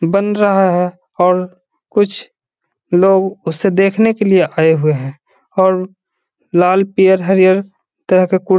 बन रहा है और कुछ लोग उसे देखने के लिए आये हुए हैं और लाल पियर हरियर तरह के कुर --